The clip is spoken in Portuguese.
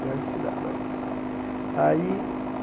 Grandes cidadões. Aí